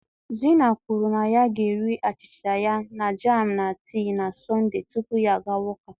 Zina kwuru na ya ga-eri achịcha ya na jam na tii na Sọnde tupu ya agawa ụka.